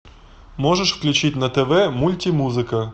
можешь включить на тв мультимузыка